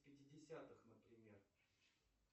в пятидесятых например